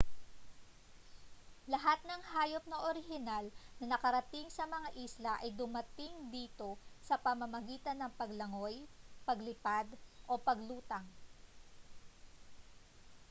lahat ng hayop na orihinal na nakarating sa mga isla ay dumating dito sa pamamagitan ng paglangoy paglipad o paglutang